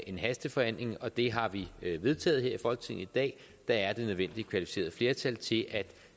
en hastebehandling og det har vi vedtaget her i folketinget i dag der er det nødvendige kvalificerede flertal til at